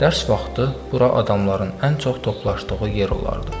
Dərs vaxtı bura adamların ən çox toplaşdığı yer olardı.